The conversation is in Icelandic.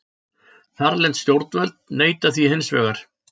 Þarlend stjórnvöld neita því hins vegar